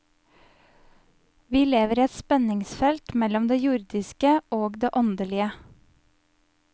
Vi lever i et spenningsfelt mellom det jordiske og det åndelige.